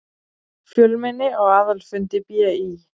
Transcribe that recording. Fjölmenni á aðalfundi BÍ